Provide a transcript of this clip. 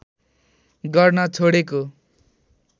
गर्न छोडेको